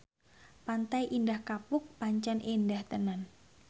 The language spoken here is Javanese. Pantai Indah Kapuk pancen endah tenan